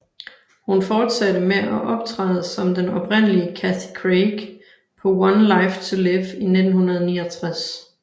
Hun fortsatte med at optræde som den oprindelige Cathy Craig på One Life to Live i 1969